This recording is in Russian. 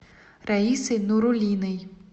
раисой нуруллиной